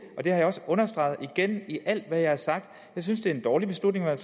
har jeg også understreget igen i alt hvad jeg har sagt jeg synes det er en dårlig beslutning man